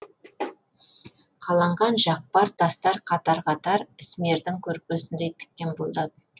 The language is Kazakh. қаланған жақпар тастар қатар қатар ісмердің көрпесіндей тіккен бұлдап